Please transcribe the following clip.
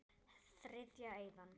Þriðja eyðan.